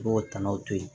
I b'o tɔnɔ to yen